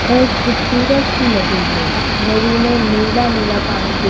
वह एक खूबसूरत सी नदी है नदी में नीला नीला पानी दिख --